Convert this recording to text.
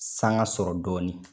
Sanga sɔrɔ dɔɔni.